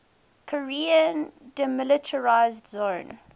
korean demilitarized zone